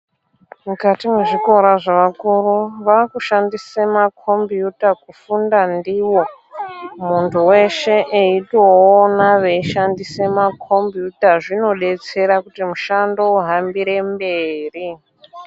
Mukati mwezvikora zvevakuru vakushandise makombiyuta kufunda ndiwo muntu weshe eitoona veishandise makombiyuta zvinodetsera kuti mushando uhambire mberi.